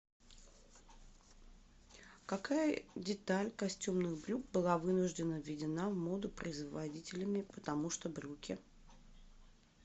какая деталь костюмных брюк была вынуждена введена в моду производителями потому что брюки